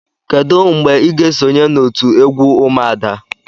Kedu mgbe ị ga-esonye na otu egwu umuada?